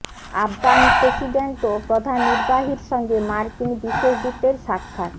Afghan president ও প্রধান নির্বাহীর সঙ্গে মার্কিন বিশেষ দূতের সাক্ষাৎ